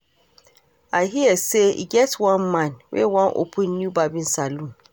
I hear say e get one man wey wan open new barbing salon